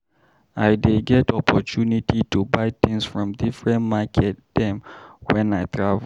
I dey get opportunity to buy tins from differen market dem wen I travel.